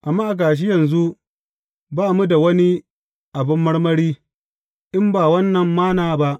Amma ga shi yanzu ba mu da wani abin marmari; in ba wannan Manna ba!